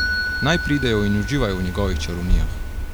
Naj pridejo in uživajo v njegovih čarovnijah.